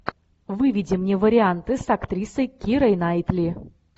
выведи мне варианты с актрисой кирой найтли